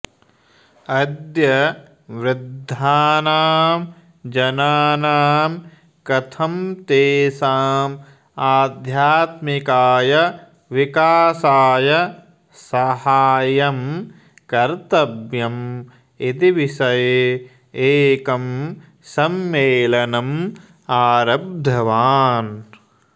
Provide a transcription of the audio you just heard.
अद्य वृद्धानां जनानां कथम् तेषां आध्यात्मिकाय विकासाय सहाय्यं कर्तव्यम् इति विषये एकं सम्मेलनम् आरब्धवान्